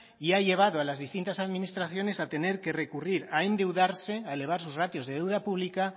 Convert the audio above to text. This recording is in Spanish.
y ha llevado a las distintas administraciones a tener que recurrir a endeudarse a elevar sus ratios de deuda pública